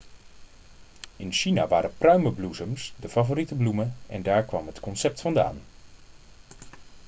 in china waren pruimenbloesems de favoriete bloemen en daar kwam het concept vandaan